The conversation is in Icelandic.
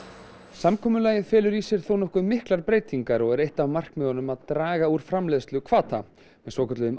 samkomulagið felur í sér þónokkuð miklar breytingar og er eitt af markmiðunum að draga úr framleiðsluhvata með svokölluðum